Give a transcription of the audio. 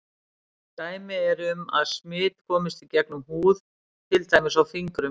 Dæmi eru um að smit komist í gegnum húð til dæmis á fingrum.